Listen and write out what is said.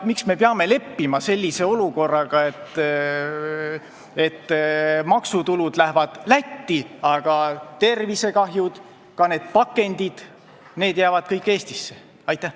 Miks me peame leppima olukorraga, kus maksutulud lähevad Lätti, aga tervisekahjud ja ka pakendid jäävad kõik Eestisse?